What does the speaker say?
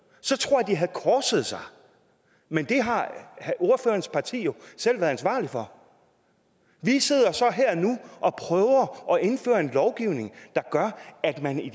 så tror jeg at de havde korset sig men det har ordførerens parti jo selv været ansvarlig for vi sidder så her og nu og prøver at indføre en lovgivning der gør at man i